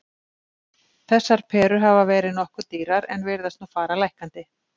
Þessar perur hafa verið nokkuð dýrar en virðast nú fara lækkandi.